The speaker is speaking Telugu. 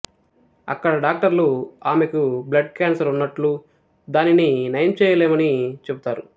అక్కడ డాక్టర్లు ఆమెకు బ్లడ్ క్యాన్సర్ ఉన్నట్లు దానిని నయం చేయలేమని చెబుతారు